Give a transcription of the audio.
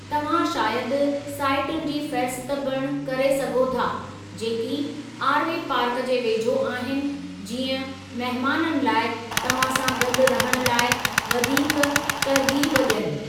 तव्हां शायदि साईटुनि जी फ़ेहरिस्त पिणु करे सघो था जेकी आरवे पार्क जे वेझो आहिनि जीअं महिमानन लाइ तव्हां सां गॾु रहण लाइ वधीक तरग़ीब ॾियनि।